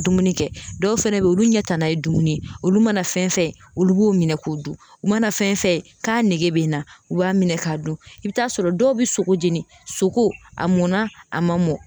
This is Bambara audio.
Dumuni kɛ dɔw fɛnɛ be ye olu ɲɛ tanna ye dumuni ye olu mana fɛn fɛn olu b'u minɛ k'u dun u mana fɛn fɛn k'a nege bɛ n na u b'a minɛ k'a dun i bi t'a sɔrɔ dɔw bɛ sogo jeni sogo a mɔnna a man mɔ.